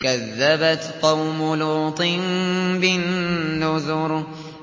كَذَّبَتْ قَوْمُ لُوطٍ بِالنُّذُرِ